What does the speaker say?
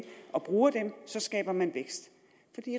og bruger dem skaber man vækst